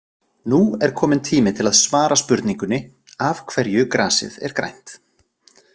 Nú er kominn tími til að svara spurningunni af hverju grasið er grænt.